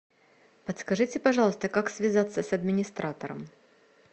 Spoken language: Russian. подскажите пожалуйста как связаться с администратором